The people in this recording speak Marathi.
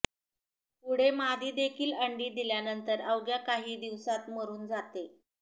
पुढे मादीदेखील अंडी दिल्या नंतर अवघ्या काही दिवसात मरून जाते